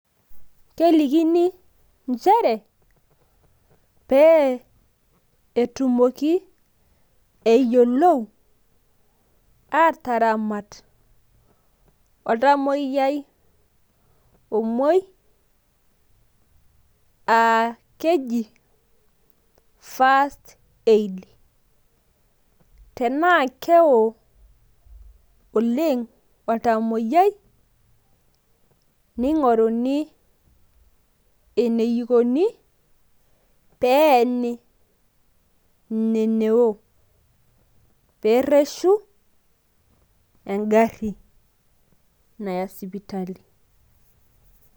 kelikini nchere pee etumoki, pee eyiolou aataramat oltamoyiai ,omuui ,aa keji first aid. tenaa keo oleng oltamoyiai neeni in neo. pee ereshu egari ina naya sipiatali.